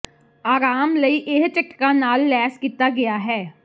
ਆਰਾਮ ਲਈ ਇਹ ਝਟਕਾ ਨਾਲ ਲੈਸ ਕੀਤਾ ਗਿਆ ਹੈ